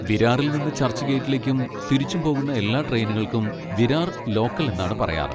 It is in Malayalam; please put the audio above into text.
വിരാറിൽ നിന്ന് ചർച്ച്ഗേറ്റിലേക്കും തിരിച്ചും പോകുന്ന എല്ലാ ട്രെയിനുകൾക്കും വിരാർ ലോക്കൽ എന്നാണ് പറയാറ്.